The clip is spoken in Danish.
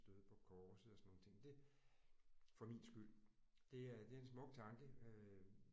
Døde på korset og sådan nogle ting det for min skyld det er det er en smuk tanke øh